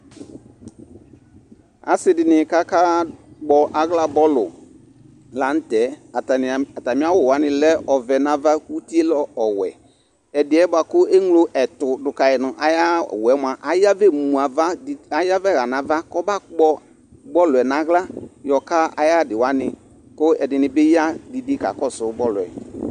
Asɩ dɩnɩ k'aka kpɔ aɣla ayʋ bɔlʋ la n'tɛ, atamɩ awʋ wanɩ lɛ ɔvɛ n'ava, iti yɛ lɛ ɔwɛ Ɛdɩ yɛ bʋa ke ŋlo ɛtʋ dʋ kayi n'ay'awʋ yɛ mʋa ayavɛ mu ava didi, ayavɛ ɣan'ava kɔbakpɔ bɔlʋ yɛ n'aɣla yɔka ayadɩ wanɩ, kʋ ɛdɩnɩ bɩ ya didi kakɔsʋ bɔlʋ yɛ